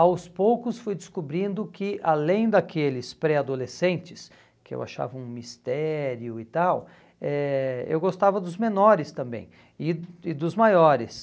Aos poucos fui descobrindo que, além daqueles pré-adolescentes, que eu achava um mistério e tal, eh eu gostava dos menores também e e dos maiores.